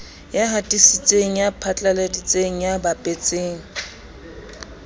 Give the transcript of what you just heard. hatisitseng ya phatlaladitseng ya bapetseng